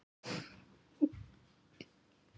Hvar er nú góða fólkið?